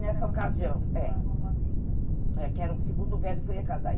Nessa ocasião, é estava boa vista. Que era o segundo velho que eu ia casar.